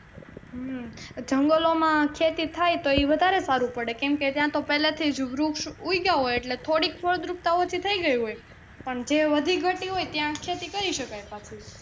હમ જંગલો માં ખેતી થાય તો ઈ વધારે સારું પડે કેમકે ત્યાં તો પહેલે થી જ વૃક્ષ ઉગ્યા હોય થોડી ફળદ્રુપતા ઓછી થઇ ગઈ હોય પણ જે વધી ઘટી હોય ત્યાં ખેતી કરી શકાય પાછું.